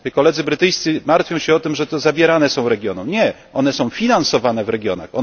Koledzy brytyjscy martwią się o to, że te zabierane są regionom, nie, one są finansowane w regionach.